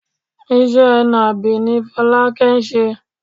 Iṣẹ́ nàbì ni Fọlákẹ́ ń ṣe.